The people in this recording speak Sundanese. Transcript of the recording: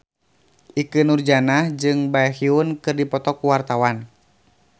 Ikke Nurjanah jeung Baekhyun keur dipoto ku wartawan